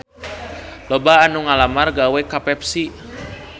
Loba anu ngalamar gawe ka Pepsi